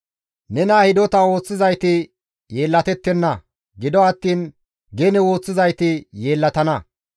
Nena hidota ooththizayti yeellatettenna; gido attiin gene ooththizayti yeellatana.